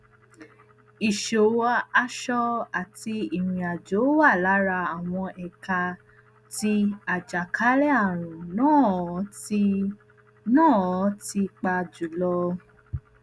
iṣowo aṣọ àti ìrìnàjò wà lára àwọn ẹka tí àjàkálẹàrùn náà ti náà ti pa jùlọ